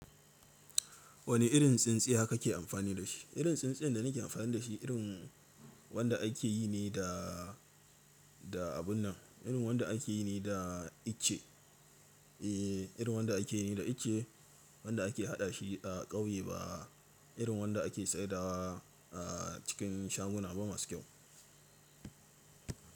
Wani irin tsintsiya ka ke amfani da shi? Irin tsintsiya da ni ke amfani da shi, irin wanda ake yi ne da, da abun nan. Irin wanda ake yi ne da ice. Eh, irin wanda ake yi ne da ice. Wanda ake haɗa shi a ƙauye ba irin wanda ake saidawa cikin shaguna ba masu kyau.